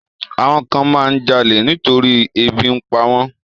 Àwọn kan máa ń jalè nítorí ebi ń pa wọ́n.